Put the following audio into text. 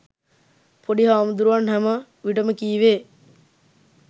පොඩි හාමුදුරුවන් හැම විටම කීවේ